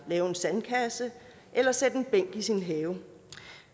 lave en sandkasse eller sætte en bænk i sin have